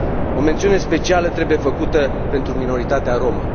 O mențiune specială trebuie făcută pentru minoritatea rromă.